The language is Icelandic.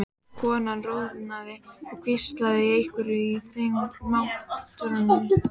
Konan roðnaði og hvíslaði einhverju að þreifingar- matrónunni.